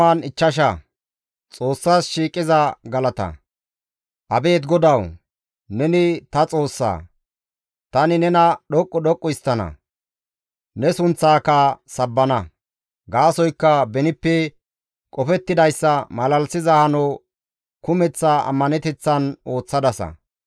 Abeet GODAWU! Neni ta Xoossaa. Tani nena dhoqqu dhoqqu histtana; ne sunththaaka sabbana. Gaasoykka benippe qofettidayssa malalisiza hano kumeththa ammaneteththan ooththadasa.